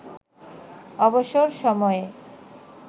অবসর সময়ে